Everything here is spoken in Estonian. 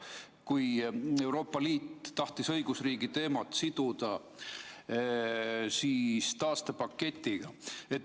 See käis selle kohta, kui Euroopa Liit tahtis õigusriigi teemat siduda taastepaketiga.